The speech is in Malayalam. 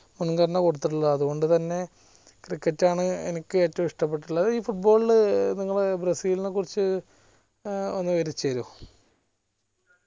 അത്കൊണ്ട് തന്നെ cricket ആൺ എനിക്ക് ഏറ്റവും ഇഷ്ടപെട്ടിട്ടുള്ളത് ഈ football നിങ്ങൾ ബ്രസീലിനെ കുറിച് ഏർ ഒന്ന് വിവരിച്ച് തരോ